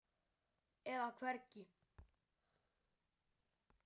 eða hvergi.